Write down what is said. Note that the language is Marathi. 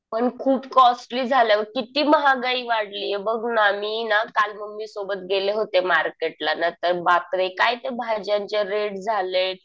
पण खूप कॉस्टली झालं. किती महागाई वाढलीय बघ ना. मी ना काल मम्मी सोबत गेले होते मार्केटला. नंतर बापरे काय ते भाज्यांचे रेट झालेत.